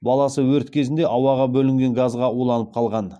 баласы өрт кезінде ауаға бөлінген газға уланып қалған